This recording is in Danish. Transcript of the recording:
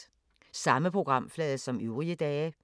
Samme programflade som øvrige dage